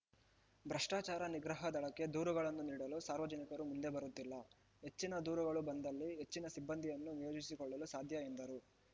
ಭ್ರಷ್ಟಾಚಾರ ನಿಗ್ರಹ ದಳಕ್ಕೆ ದೂರುಗಳನ್ನು ನೀಡಲು ಸಾರ್ವಜನಿಕರು ಮುಂದೆ ಬರುತ್ತಿಲ್ಲ ಹೆಚ್ಚಿನ ದೂರುಗಳು ಬಂದಲ್ಲಿ ಹೆಚ್ಚಿನ ಸಿಬ್ಬಂದಿಯನ್ನು ನಿಯೋಜಿಸಿಕೊಳ್ಳಲು ಸಾಧ್ಯ ಎಂದರು